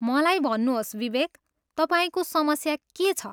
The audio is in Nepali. मलाई भन्नुहोस्, विवेक, तपाईँको समस्या के छ?